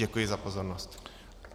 Děkuji za pozornost.